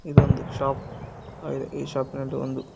ಇದೊಂದು ಶಾಪ್ ಆಗಿದೆ ಈ ಶಾಪಿನಲ್ಲಿ ಒಂದು--